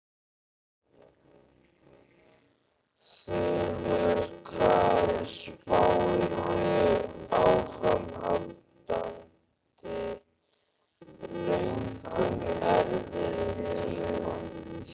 Þulur: Hvað spáirðu áframhaldandi löngum erfiðum tíma?